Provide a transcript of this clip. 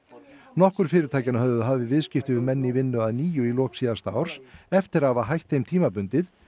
nokkur fyrirtækjanna höfðu hafið viðskipti við menn í vinnu að nýju í lok síðasta árs eftir að hafa hætt þeim tímabundið